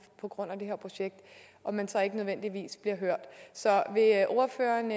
på grund af det her projekt og man så ikke nødvendigvis bliver hørt så vil ordføreren